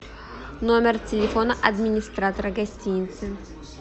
номер телефона администратора гостиницы